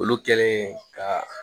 Olu kɛlen ka